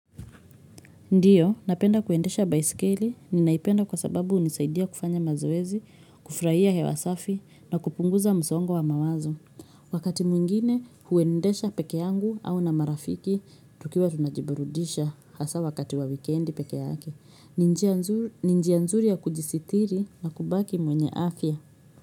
Ndiyo, napenda kuendesha baiskeli ninaipenda kwa sababu hunisaidia kufanya mazoezi, kufurahia hewa safi na kupunguza msongo wa mawazo. Wakati mwingine huendesha peke yangu au na marafiki, tukiwa tunajiburudisha hasaa wakati wa wikendi peke yake. Ni njia nzuri ni njia nzuri ya kujisitiri na kubaki mwenye afya.